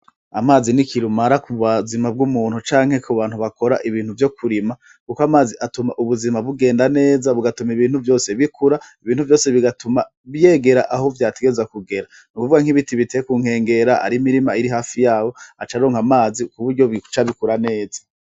Amazi nikirumara ku bazima bw'umuntu canke ku bantu bakora ibintu vyo kurima, kuko amazi atuma ubuzima bugenda neza bugatuma ibintu vyose bikura ibintu vyose bigatuma byegera aho vyategeza kugera ni kuvuga nk'ibiti biteye kunkengera ari mirima iri hafi yabo aca aronka amazi ku buryo bica bikura neza.